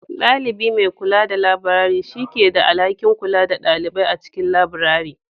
Ɗalibi mai kula da labirari, shi ne ke da alhakin kula da ɗalibai a cikin labirari.